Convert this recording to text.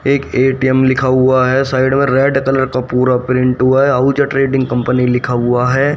एक ए_टी_एम लिखा हुआ है साइड में रेड कलर का पूरा प्रिंट हुआ है अहूजा ट्रेडिंग कंपनी लिखा हुआ है।